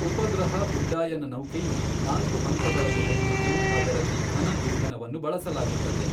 ಉಪಗ್ರಹ ಉಡ್ಡಾಯನ ನೌಕೆಯು ನಾಲ್ಕು ಹಂತಗಳನ್ನು ಹೊಂದಿದ್ದು ಅದರಲ್ಲಿ ಘನ ಇಂಧನವನ್ನು ಬಳಸಲಾಗುತ್ತದೆ.